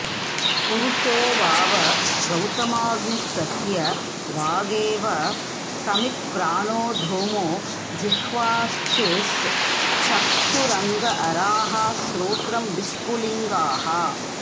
पुरुषो वाव गौतमाग्निस्तस्य वागेव समित्प्राणो धूमो जिह्वार्चिश्चक्षुरङ्गाराः श्रोत्रं विस्फुलिङ्गाः